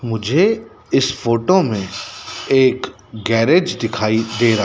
मुझे इस फोटो में एक गैरेज दिखाई दे रहा--